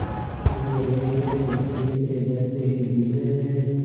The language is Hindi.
कि वो रेलवे के तीसरे दर्ज़े के डिब्बे में